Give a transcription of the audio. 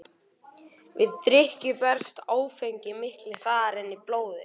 Við drykkju berst áfengi miklu hraðar inn í blóðið.